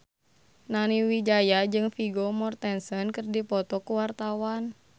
Nani Wijaya jeung Vigo Mortensen keur dipoto ku wartawan